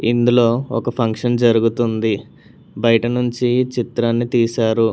ఇందులో ఒక ఫంక్షన్ జరుగుతుంది బయటనుంచి చిత్రాన్ని తీశారు.